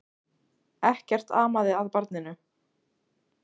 Ekkert amaði að barninu.